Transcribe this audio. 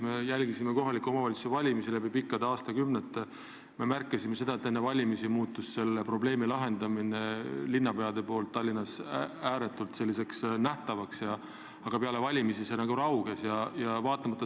Me oleme jälginud kohaliku omavalitsuse valimisi läbi pikkade aastakümnete ja me kõik oleme märganud, et enne valimisi on selle probleemi lahendamine linnapeade poolt Tallinnas ääretult nähtavaks muutunud, aga peale valimisi on see nagu raugenud.